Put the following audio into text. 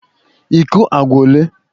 iko agwa ole?